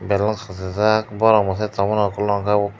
bellon kasijak borok mochai tongmani okologo.